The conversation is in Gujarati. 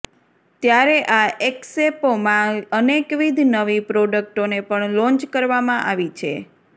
ત્યારે આ એકસ્પોમાં અનેકવિધ નવી પ્રોડકટોને પણ લોન્ચ કરવામાં આવી છે